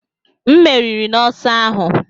M meriri n'ọsọ ahụ